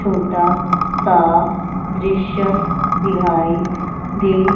छोटा सा दृश्य दिहाई दे--